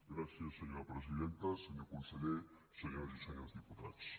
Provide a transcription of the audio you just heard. gràcies senyora presidenta senyor conseller senyores i senyors diputats